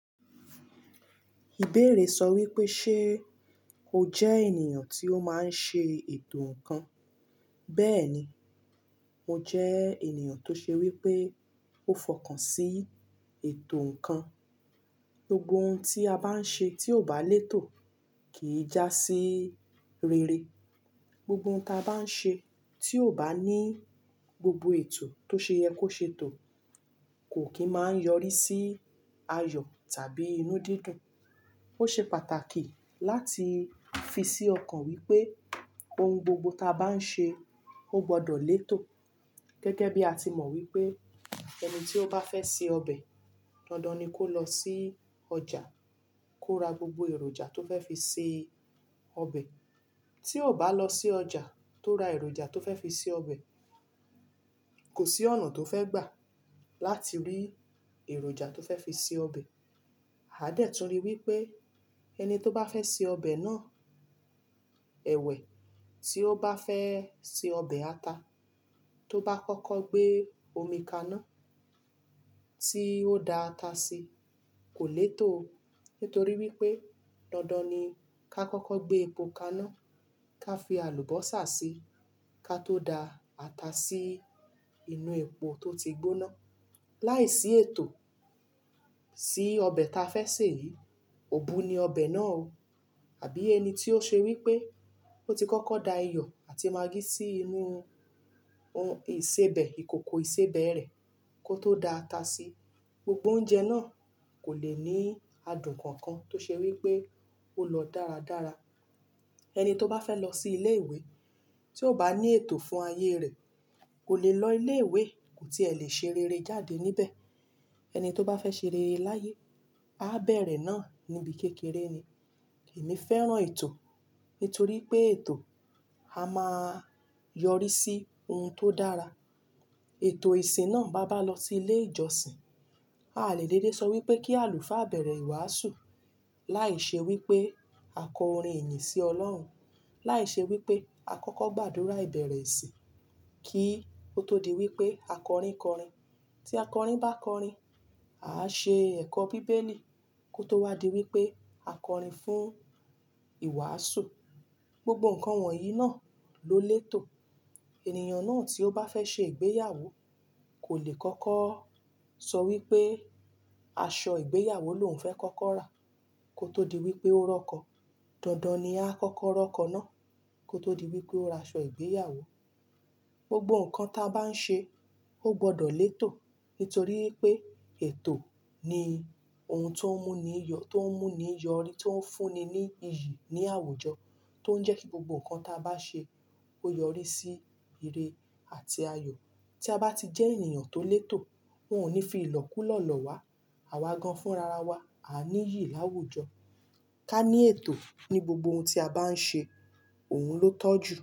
Ìbéèrè sọ wípé ṣe o jẹ́ ènìyàn tí ó máa ń ṣe ètò ǹkan? Bẹ́ẹ̀ ni, mo jẹ́ ènìyàn tó ṣe wípé ó fọkàn sí ètò ǹkan. Gbogbo oun tí a bá ń ṣe tí ò bá lètò kìi já sí rere. Gbogbo oun tí a bá ń ṣe tí ò bá ní gbogbo ètò tó ṣe yẹ kó ṣe tò kò kí máa ń yọrí sí ayọ̀ tàbí inú dídùn. Ó ṣe pàtàkì láti fi sí ọkàn wípé oun gbogbo ta bá ń ṣe ó gbọdọ̀ lètò. Gẹ́gẹ́ bí a ti mọ̀ wípé ẹni tí ó bá fẹ́ se ọbẹ̀, dandan ni kó lọ sí ọjà kó ra gbogbo èròjà tó fẹ́ fi ṣe ọbẹ̀. Tí ò bá lọ sí ọjà tó ra èròjà tó fẹ́ fi ṣe ọbẹ̀, kò sí ọ̀nà tó fẹ́ gbà láti rí èròjà tó fẹ́ fi se ọbẹ̀. A dẹ̀ tun rí wípé ẹni tó bá fẹ́ se ọbẹ̀ náà, ẹ̀wẹ̀, tí ó bá fẹ́ se ọbẹ̀ ata, tó bá kọ́kọ́ gbé omi kaná tí ó da ata sí kò lètò. Nítorí wípé dandan ni ká kọ́kọ́ gbé epo kaná ká fi àlùbọ́sà sí ká tó da ata sí inú epo tó ti gbóná. Láìsí ètò sí ọbẹ̀ ta fẹ́ sè, òbu ni ọbẹ̀ náà o. Àbí ẹni tí ó ṣe wípé ó ti kọ́kọ́ da iyọ̀ àti magí sí inú ohun ìsebẹ̀, ìkòkò ìsebẹ̀ rẹ̀ kó tó da ata sí, gbogbo oúnjẹ náà kò lè ní adùn kankan tó ṣe wípé ó lọ dáradára. Ẹni tó bá fẹ́ lọ sí ilé ìwé tí ò bá ní ètò fún ayé rẹ̀ kò lè lọ ilé ìwé, kò tí è lè ṣe rere jáde níbẹ̀. Ẹni tó bá fẹ́ ṣe rere láyé, a bẹ̀rẹ̀ náà níbi kékeré ni. Èmi fẹ́ràn ètò nítorí pé ètò a máa yọrí sí oun tó dára. Ètò ìsìn náà, bá bá lọ sí ilé ìjọsìn, a lè dédé sọ wípé kí àlùfáà bẹ̀rẹ̀ ìwàásù láìṣe wípé a kọ orin ìyìn sí Ọlọ́run, láìṣe wípé a kọ́kọ́ gbàdúrà ìbẹ̀rẹ̀ ìsìn kí ó tó di wípé a kọrin kọrin. Tí a kọrin bá kọrin, á ṣe ẹ̀kọ́ bíbélì kó tó wá di wípé a kọrin fún ìwàásù. Gbogbo nǹkan wọ̀nyí náà ló lètò. Ènìyàn náà tí ó bá fẹ́ ṣe ìgbéyàwó kò lè kọ́kọ́ sọ wípé aṣọ ìgbéyàwó lòún fẹ́ kọ́kọ́ rà kó tó di wípé ó rọkọ. Dandan ni a á kọ́kọ́ rọkọ náà kó tó di wípé ó ra aṣọ ìgbéyàwó. Gbogbo nǹkan ta bá ń ṣe ó gbọdọ̀ lètò, nítorí wípé ètò ni oun tó ń mú ni, tó ń mú ni yọrí tó ń fúnni ní iyì ní àwùjọ tó ń jẹ́ kí gbogbo nǹkan ta bá ṣe kó yọrí sí ìre àti ayọ̀. Tí a bá ti jẹ́ ènìyàn tó lètò, wọn ò ní fi ìlọ́ kú lọ̀ọ́ lọ wá. Àwa gan fúnra ra wa, a ní iyì láwùjọ. Ká ní ètò ní gbogbo oun tí a bá ń ṣe òun ló tọ́jú.